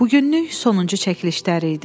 Bugünlük sonuncu çəkilişləri idi.